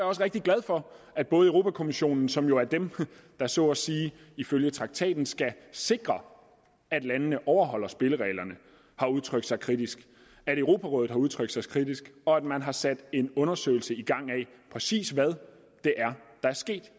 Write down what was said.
også rigtig glad for at europa kommissionen som jo er dem der så at sige ifølge traktaten skal sikre at landene overholder spillereglerne har udtrykt sig kritisk at europarådet har udtrykt sig kritisk og at man har sat en undersøgelse i gang af præcis hvad det er der er sket